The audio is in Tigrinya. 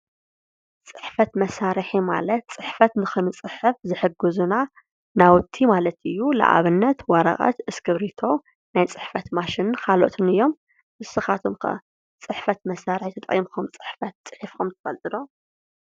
ፅሕፈት መሳርሒ ማለት ፅሕፈት ንኽንፅሕፍ ዝሕጉዝና ናውቲ ማለት እዩ። ልአብነት ወረቀት፣ እስክርቢቶ ናይ ፅሕፈት ማሽን ካልኣትን እዮም። ንስኻትኩም ኸ ፅሕፈት መሳርሒ ተጠቂሙኹም ፅሕፈት ፂሒፍኹም ትፈልጡ ዶ?